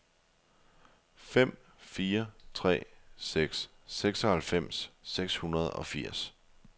fem fire tre seks seksoghalvfems seks hundrede og firs